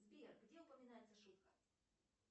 сбер где упоминается шутка